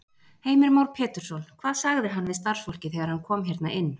Heimir Már Pétursson: Hvað sagði hann við starfsfólkið þegar hann kom hérna inn?